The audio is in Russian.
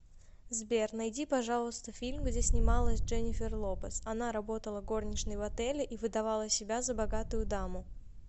сбер найди пожалуйста фильм где снималась дженефер лопес она работала горничной в отеле и выдавала себя за богатую даму